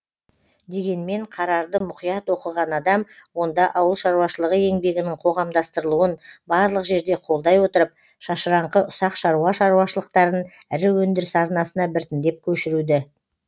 дегенмен қарарды мұқият оқыған адам онда ауыл шаруашылығы еңбегінің қоғамдастырылуын барлық жерде қолдай отырып шашыраңқы ұсақ шаруа шаруашылықтарын ірі өндіріс арнасына біртіндеп көшіруді